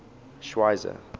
schweizer